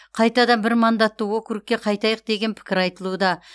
қайтадан бір мандатты округке қайтайық деген пікір айтылуда